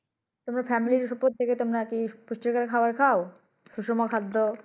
তোমরা Familyr প্রত্যেকে তোমারা কি পুষ্টি কর খাবার খাও?